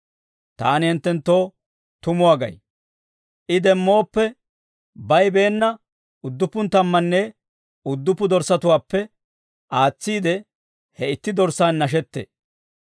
Taani hinttenttoo tumuwaa gay; I demmooppe, bayibeenna udduppu tammanne udduppu dorssatuwaappe aatsiide, he itti dorssaan nashettee.